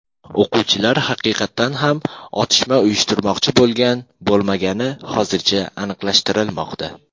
O‘quvchilar haqiqatan ham otishma uyushtirmoqchi bo‘lgan-bo‘lmagani hozircha aniqlashtirilmoqda.